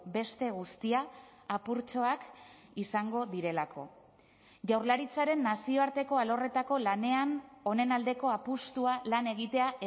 beste guztia apurtxoak izango direlako jaurlaritzaren nazioarteko alorretako lanean honen aldeko apustua lan egitea